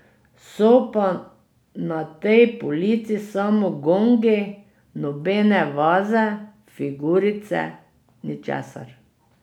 So pa na tej polici samo gongi, nobene vaze, figurice, ničesar.